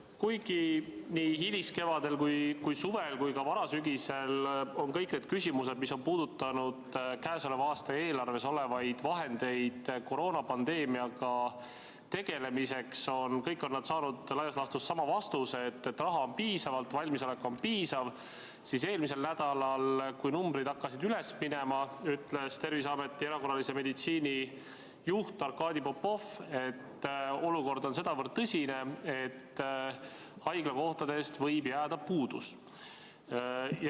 Kuigi nii hiliskevadel, suvel kui ka varasügisel on kõik need küsimused, mis on puudutanud käesoleva aasta eelarves olevaid vahendeid koroonapandeemiaga tegelemiseks, saanud laias laastus sama vastuse, et raha on piisavalt ja valmisolek on piisav, siis eelmisel nädalal, kui numbrid hakkasid üles minema, ütles Terviseameti hädaolukorra meditsiinijuht Arkadi Popov, et olukord on sedavõrd tõsine, et haiglakohtadest võib jääda puudu.